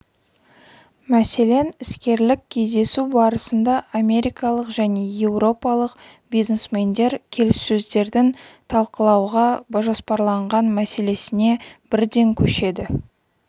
мәселен іскерлік кездесу барысында америкалық және еуропалық бизнесмендер келіссөздердің талқылауға жоспарланған мәселесіне бірден көшеді